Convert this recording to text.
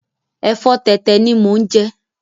Ẹ̀fọ́ tẹ̀tẹ̀ ni mo ń jẹ